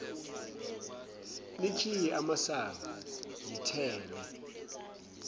nikhiye amasango ngithenge